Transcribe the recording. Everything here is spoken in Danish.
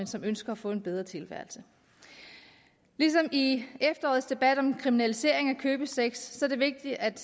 som ønsker at få en bedre tilværelse ligesom i efterårets debat om kriminalisering af købesex er det vigtigt at